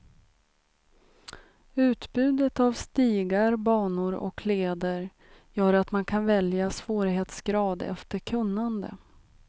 Utbudet av stigar, banor och leder gör att man kan välja svårighetsgrad efter kunnande.